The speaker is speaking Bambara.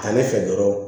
Ta ne fɛ dɔrɔn